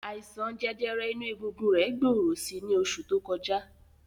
Àìsàn jẹjẹrẹ inú egungun rẹ̀ gbòòrò si ní oṣù tó kọjá.